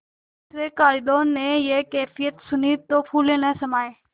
दूसरें कारिंदों ने यह कैफियत सुनी तो फूले न समाये